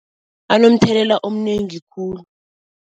Anomthelela omnengi khulu.